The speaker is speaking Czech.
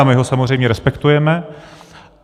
A my ho samozřejmě respektujeme.